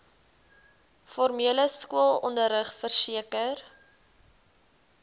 formele skoolonderrig verseker